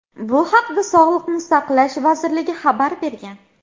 Bu haqda Sog‘liqni saqlash vazirligi xabar bergan.